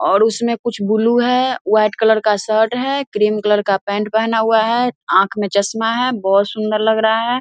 और उसमें कुछ बुलु है। व्हाइट कलर का शर्ट है क्रीम कलर का पैंट पेहना हुआ है। ऑंख में चश्मा है। बोहोत सुंदर लग रहा है।